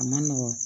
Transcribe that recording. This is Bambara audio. A ma nɔgɔn